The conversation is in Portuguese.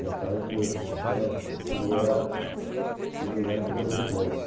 Meu pai, como eu disse para a senhora, ele era ele era cobrador de bondes.